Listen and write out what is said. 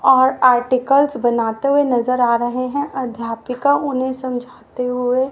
और आर्टिकल्स बनाते हुए नजर आ रहे हैं अध्यापिका उन्हें समझाते हुए--